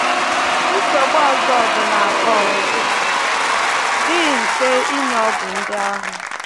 Nsogbu ọzọ bụ na ọ dịghị mfe inye ọgwụ ndị ahụ